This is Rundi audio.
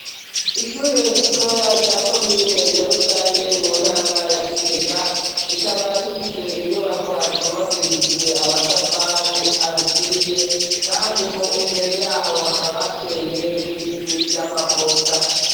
Ishure ritoya rya komine Nyarusange, mu ntara ya Gitega, rikaba rifise inyubakwa zubakishijwe amatafari aturiye kandi mu mbere y'aho hakaba hateye n'ibiti vy'amavoka.